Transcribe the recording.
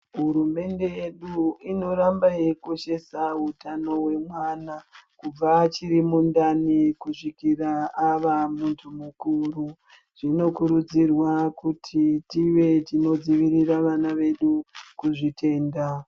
Hurumende yedu inoramba yeikoshesa utano wemwana, kubva achiri mundani kusvikira ava muntu mukuru. Zvinokurudzirwa kuti tive tinodzivirira vana vedu kuzvitenda.